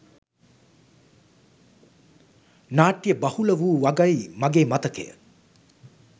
නාට්‍ය බහුලවූ වගයි මගේ මතකය.